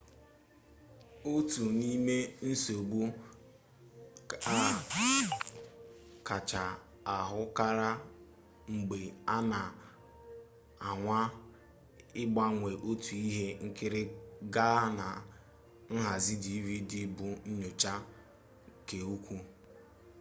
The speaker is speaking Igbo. otu n'im ensogbu a kacha ahụkarị mgbe a na-anwa ịgbanwe otu ihe nkiri gaa na nhazi dvd bụ nnyocha-keukwuu